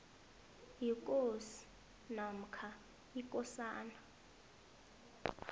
yikosi namkha ikosana